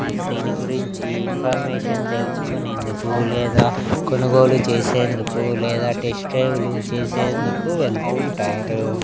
First దీని గురించి information తెలుసుకునేందుకు లేదా కొనుగోలు చేసేందుకు లేదా టెస్ట్ డ్రైవ్ లు చేసేందుకు వెళ్తుంటారు.